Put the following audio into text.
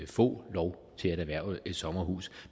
få lov til at erhverve et sommerhus